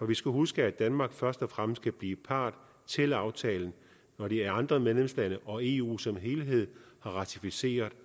vi skal huske at danmark først og fremmest kan blive part til aftalen når de andre medlemslande og eu som helhed har ratificeret